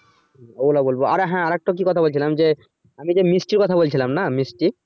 ওগুলো বলবো আর হ্যা আর একটা কি কথা বলছিলাম যে আমি যে মিষ্টির কথা বলছিলাম না মিষ্টি।